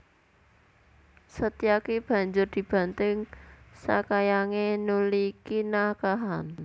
Setyaki banjur dibanting sakayangé nuli kinakahan